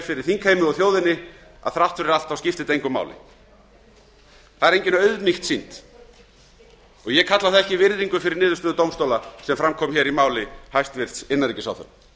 fyrir þingheimi og þjóðinni að þrátt fyrir allt skipti þetta engu máli það er engin auðmýkt sýnd og ég kalla að það sé virðing fyrir niðurstöðu dómstóla sem fram kom í máli hæstvirts innanríkisráðherra